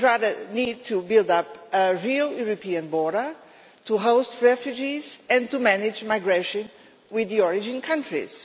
We need instead to build up a real European border, to host refugees and to manage migration with the origin countries.